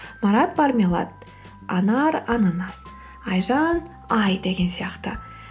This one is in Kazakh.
марат мармелад анар ананас айжан ай деген сияқты